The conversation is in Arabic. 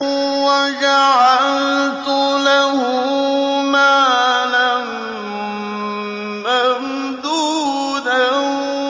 وَجَعَلْتُ لَهُ مَالًا مَّمْدُودًا